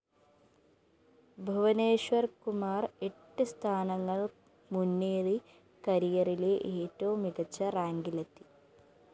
ഭുവനേശ്വര്‍കുമാര്‍ എട്ട് സ്ഥാനങ്ങള്‍ മുന്നേറി കരിയറിലെ ഏറ്റവും മികച്ച റാങ്കിലെത്തി